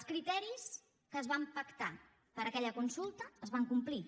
els criteris que es van pactar per a aquella consulta es van complir